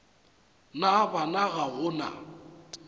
na bana ga go na